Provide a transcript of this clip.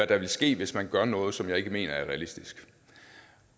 der vil ske hvis man gør noget som jeg ikke mener er realistisk